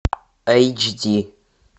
эйч ди